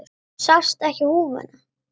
Sástu ekki húfuna?